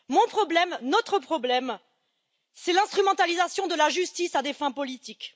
Mon problème, notre problème, c'est l'instrumentalisation de la justice à des fins politiques.